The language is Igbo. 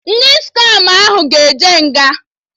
Ndị skama ahụ ga-eje nha